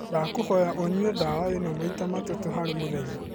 Ndakũhoya ũnyue ndawa ĩno maita matatũ harĩ mũthenya